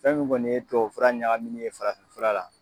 Fɛn min kɔni ye tubabu fura ɲagaminin ye farafin fura la.